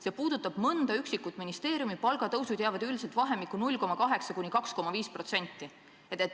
See puudutab mõnda üksikut ministeeriumi, palgatõusud jäävad üldiselt vahemikku 0,8–2,5%.